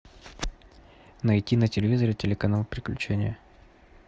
найти на телевизоре телеканал приключения